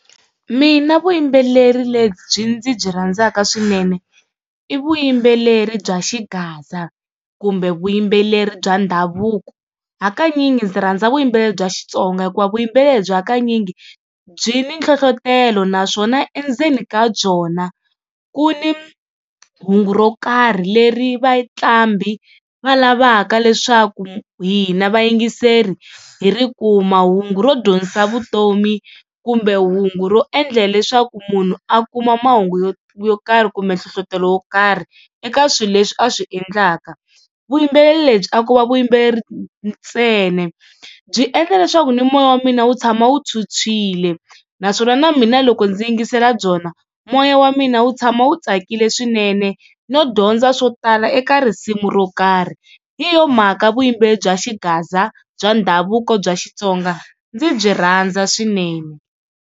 Mina vuyimbeleri lebyi ndzi byi rhandzaka swinene i vuyimbeleri bya Xigaza, kumbe vuyimbeleri bya ndhavuko hakanyingi ndzi rhandza vuyimbeleri bya Xitsonga hikuva vuyimbeleri lebyi hakanyingi byi ni nhlohlotelo naswona endzeni ka byona ku ni hungu ro karhi leri vaqambi va lavaka leswaku hina vayingiseri hi ri kuma, hungu ro dyondzisa vutomi kumbe hungu ro endle leswaku munhu a kuma mahungu yo yo karhi kumbe nhlohlotelo wo karhi eka swilo leswi a swi endlaka. Vuyimbeleri lebyi a ko va vuyimbeleri ntsena byi endla leswaku ni moya wa mina wu tshama wu phyuphyile naswona na mina loko ndzi yingisela byona moya wa mina wu tshama wu tsakile swinene, no dyondza swo tala eka risimu ro karhi. Hi yona mhaka vuyimbeleri bya Xigaza bya ndhavuko bya Xitsonga ndzi byi rhandza swinene.